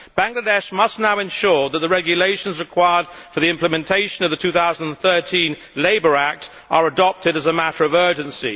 Bangladesh must now ensure that the regulations required for the implementation of the 2013 Labour Act are adopted as a matter of urgency.